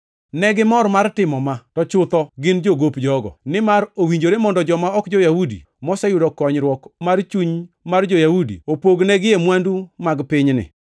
Negimor mar timo ma, to chutho gin jogop jogo. Nimar owinjore mondo joma ok jo-Yahudi, moseyudo konyruok mar chuny mar jo-Yahudi opog negie mwandu mag pinyni.